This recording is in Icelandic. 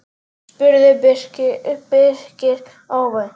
spurði Birkir óvænt.